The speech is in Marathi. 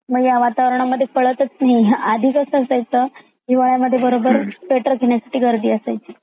मग या वातावरणात काळातच नाही आधी कसा असायचा हिवाळयात बरोबर स्वेटर घेण्यासाठी गर्दी असायची.